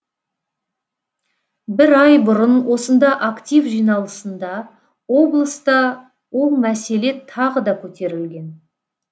бір ай бұрын осында актив жиналысында облыста ол мәселе тағы да көтерілген